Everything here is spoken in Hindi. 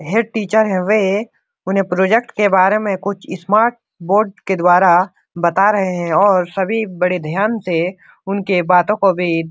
है टीचर है वे उन्हें प्रोजेक्ट के बारे में कुछ स्मार्ट बोर्ड के द्वारा बता रहा हैंऔर सभी बड़े ध्यान से उनके बातों को भी --